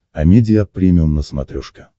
амедиа премиум на смотрешке